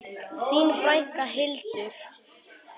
Þín frænka, Hildur.